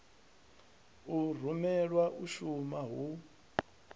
u rumelwa u shuma hu